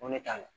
Ko ne t'a la